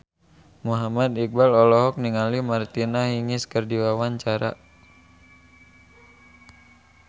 Muhammad Iqbal olohok ningali Martina Hingis keur diwawancara